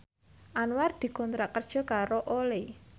Anwar dikontrak kerja karo Olay